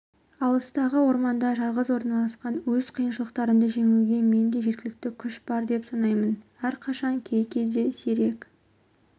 алыстағы орманда жалғыз орналасқан өз қиыншылықтарымды жеңуге менде жеткілікті күш бар деп санаймын әрқашан кей кезде сирек